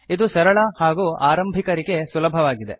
ಇದು ಸರಳ ಹಾಗೂ ಆರಂಭಿಕರಿಗೆ ಸುಲಭವಾಗಿದೆ